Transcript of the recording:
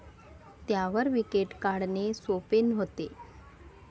त्यावर विकेट काढणे, सोपे नव्हते.